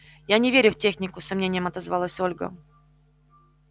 я не верю в технику с сомнением отозвалась ольга